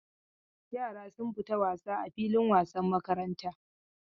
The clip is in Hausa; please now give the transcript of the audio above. Yara sun fita wasa a filin wasan makaranta.